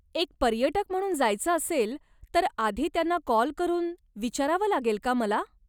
एक पर्यटक म्हणून जायचं असेल तर आधी त्यांना कॉल करून विचारावं लागेल का मला?